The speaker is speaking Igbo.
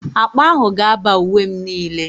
Akpa ahụ ga-aba uwe m niile.